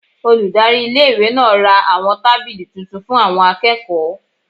Olùdarí iléèwé náà ra àwọn tábìlì tuntun fún àwọn akẹ́kọ̀ọ́